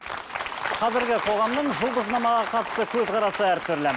қазіргі қоғамның жұлдызнамаға қатысты көзқарасы әртүрлі